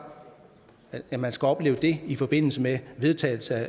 at man skal opleve det i forbindelse med vedtagelsen af